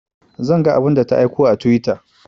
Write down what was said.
Zan ga abun da ta aiko a twitter